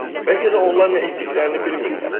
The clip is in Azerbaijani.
Bəlkə də onlar nə etdiklərini bilmirlər.